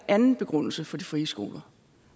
anden begrundelse for de frie skoler